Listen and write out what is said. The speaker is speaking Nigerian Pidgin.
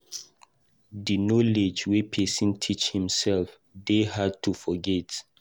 Di knowledge wey pesin teach himsef dey hard to forget.